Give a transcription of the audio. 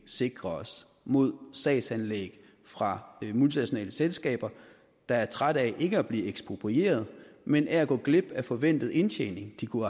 sikre os mod sagsanlæg fra multinationale selskaber der er trætte ikke af at blive eksproprieret men af at gå glip af den forventede indtjening de kunne